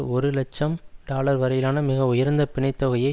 ஒரு இலட்சம் டாலர் வரையிலான மிக உயர்ந்த பிணைத்தொகையை